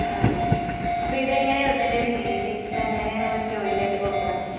ആ ആ അപ്പിതങ്ങനെ ഇതിൻറെയൊരു രീതി ഇതെങ്ങനെയാണ് ഇവര് ജോയിന്റ് ആയിട്ട് കൊടുക്കണെ.